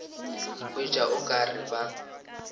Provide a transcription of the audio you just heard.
hwetša o ka re ba